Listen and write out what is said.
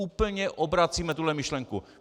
Úplně obracíme tuhle myšlenku.